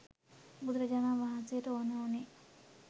බුදුරජාණන් වහන්සේට ඕන වුණේ